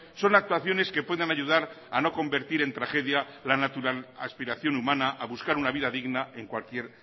son actuaciones que pueden ayudar a no convertir en tragedia la aspiración humana a buscar una vida digna en cualquier